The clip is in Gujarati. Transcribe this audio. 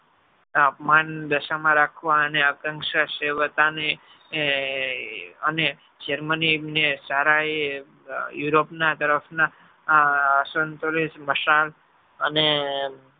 અપમાન દસ માં રાખવા અને આકાંશા સેવતા ને અને germany એમ ને સારે એ europe ના તરફ ના આ અંસંતોલે માંસલ અને